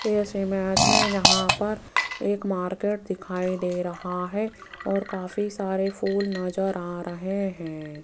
ऐसे में आज मे यहां पर एक मार्केट दिखाई दे रहा है और काफी सारे फूल नजर आ रहे हैं।